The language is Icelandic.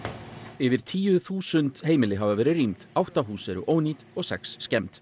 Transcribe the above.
yfir tíu þúsund heimili hafa verið rýmd átta hús eru ónýt og sex skemmd